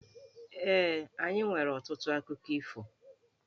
Ee, anyị nwere ọtụtụ akụkọ ifo.